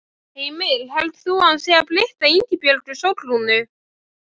Háskólans og um stúdentagarð- Teikning Guðjóns Samúelssonar